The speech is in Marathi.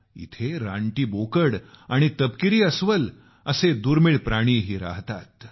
इथं रानटी बोकड आणि तपकिरी अस्वल असे दुर्मिळ प्राणीही राहतात